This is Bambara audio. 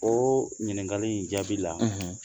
O ɲininkali in jaabi la